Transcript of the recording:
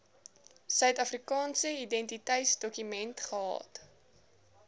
suidafrikaanse identiteitsdokument gehad